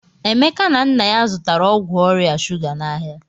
Emeka na nna ya zụtara ọgwụ ọrịa shụga n'ahịa.